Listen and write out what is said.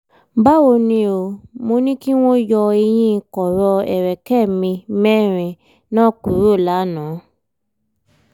báwo ni o? mo ní kí wọ́n yọ eyín kọ̀rọ̀ ẹ̀rẹ̀kẹ́ mi mẹ́rin náà kúrò lánàá